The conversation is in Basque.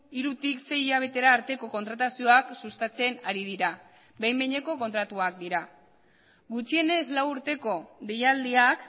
hirutik sei hilabetera arteko kontratazioak sustatzen ari dira behin behineko kontratuak dira gutxienez lau urteko deialdiak